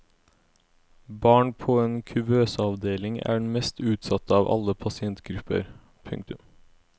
Barn på en kuvøseavdeling er den mest utsatte av alle pasientgrupper. punktum